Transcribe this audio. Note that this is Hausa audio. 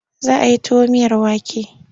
Za a yi tuwo miyar wake.